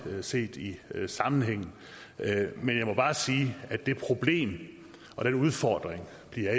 set i sammenhængen men jeg må bare sige at det problem og den udfordring